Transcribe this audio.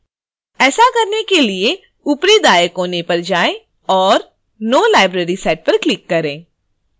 ऐसा करने के लिए ऊपरी दाएँ कोने पर जाएँ और no library set पर क्लिक करें